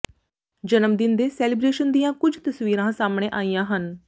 ਜਨਮਦਿਨ ਦੇ ਸੈਲੀਬ੍ਰੇਸ਼ਨ ਦੀਆਂ ਕੁੱਝ ਤਸਵੀਰਾਂ ਸਾਹਮਣੇ ਆਈਆਂ ਹਨ